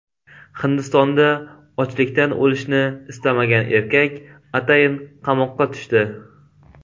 Hindistonda ochlikdan o‘lishni istamagan erkak atayin qamoqqa tushdi .